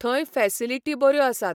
थंय फॅसिलिटी बऱ्यो आसात.